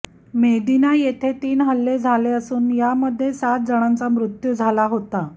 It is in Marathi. मेदिना येथे तीन हल्ले झाले असून यामध्ये सात जणांचा मृत्यू झाला होता